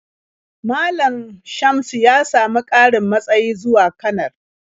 Malam Shamsu ya samu ƙarin matsayi zuwa kanar.